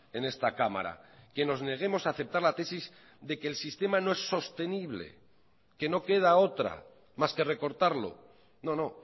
en esta cámara que nos neguemos a aceptar la tesis de que el sistema no es sostenible que no queda otra mas que recortarlo no no